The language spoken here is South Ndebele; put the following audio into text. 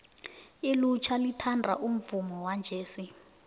ilutjha lithanda umvumo wejesi